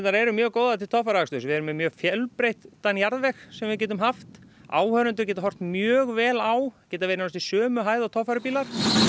eru mjög góðar til torfæruaksturs við erum með mjög fjölbreyttan jarðveg sem við getum haft áhorfendur geta horft mjög vel á geta verið næstum um sömu hæð og torfærubílar